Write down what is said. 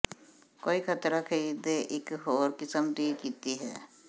ਕੋਈ ਖਤਰਾ ਖਰੀਦ ਦੇ ਇਕ ਹੋਰ ਕਿਸਮ ਦੀ ਕੀਤੀ ਹੈ